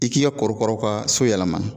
I k'i ka korokaraw ka so yɛlɛma.